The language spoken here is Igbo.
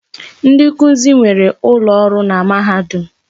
Ndi nkuzi nwere ụlọ ọrụ na mahadum.